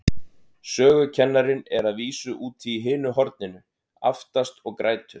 Sögukennarinn er að vísu úti í hinu horninu, aftast, og grætur.